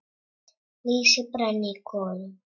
Lýsi brann í kolum.